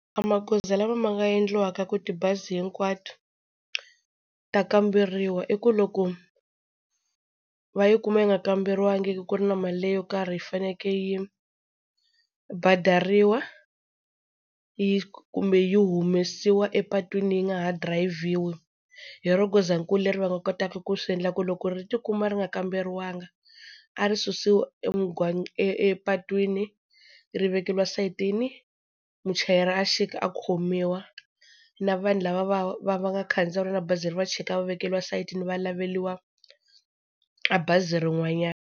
Magoza lama ma nga endliwaka ku tibazi hinkwato ta kamberiwa, i ku loko va yi kuma yi nga kamberiwangi, ku ri na mali yo karhi yi faneleke yi badariwa kumbe yi humesiwa epatwini yi nga ha dirayivhiwi, hi ro goza nkulu leri va nga kotaka ku swi endla ku loko ri ti kuma ri nga kamberiwanga a ri susiwa epatwini ri vekeriwa sayitini, muchayeri a xika a khomiwa, na vanhu lava va va va nga khandziya na bazi leri va chika va vekeriwa sayitini va laveliwa a bazi rin'wanyana.